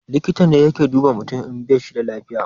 Likita ne yake duba mutum in bashi da lafiya